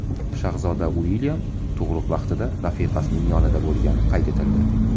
Shahzoda Uilyam tug‘ruq vaqtida rafiqasining yonida bo‘lgani qayd etildi.